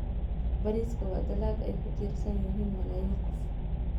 Bariiska waa dalag ay ku tiirsan yihiin malaayiin qof.